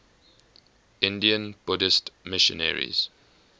indian buddhist missionaries